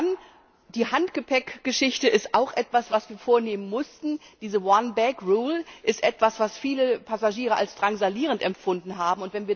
Und dann die Handgepäckgeschichte ist auch etwas, was wir uns vornehmen mussten, diese one bag rule ist etwas, was viele Passagiere als drangsalierend empfunden haben.